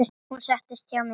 Hún settist hjá mér.